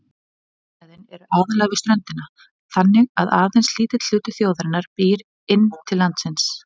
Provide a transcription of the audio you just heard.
Þéttbýlissvæðin eru aðallega við ströndina, þannig að aðeins lítill hluti þjóðarinnar býr inn til landsins.